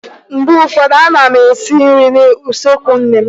Mgbe ụfọdụ a na m esi nri n'usekwu nne m.